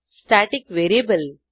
static variable